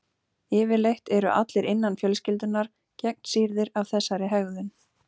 Yfirleitt eru allir innan fjölskyldunnar gegnsýrðir af þessari hegðun.